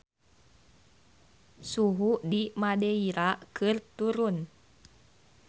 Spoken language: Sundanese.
Suhu di Madeira keur turun